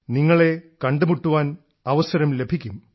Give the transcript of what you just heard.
നിങ്ങളെ കണ്ടുമുട്ടാൻ അവസരം ലഭിക്കും